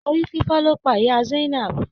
Orí fífọ́ ló pa ìyá Zainab